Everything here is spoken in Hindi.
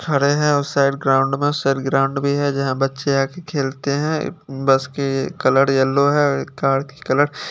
खड़े है उस साइड ग्राउंड में उस साइड ग्राउंड भी है जहा बच्चे आके खेलते है बस की कलर येलो है कार की कलर --